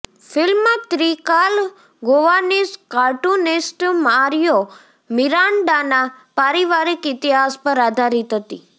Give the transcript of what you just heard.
film Trikal Goanese cartoonist Mario મિરાન્ડાના પારિવારિક ઇતિહાસ પર આધારિત હતી